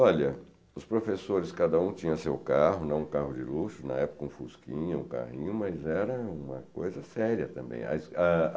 Olha, os professores, cada um tinha seu carro, não um carro de luxo, na época um fusquinha, um carrinho, mas era uma coisa séria também. As